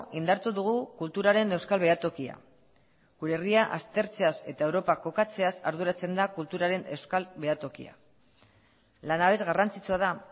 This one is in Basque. indartu dugu kulturaren euskal behatokia gure herria aztertzeaz eta europa kokatzeaz arduratzen da kulturaren euskal behatokia lanabes garrantzitsua da